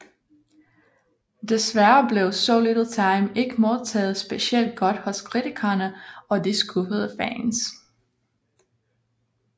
Desværre blev So Little Time ikke modtaget specielt godt hos kritikerne og de skuffede fans